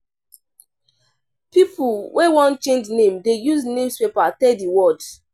Pipo wey wan change name dey use newspaper tell di world.